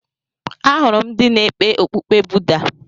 Ahụrụ m ndị na-ekpe okpukpe Buda.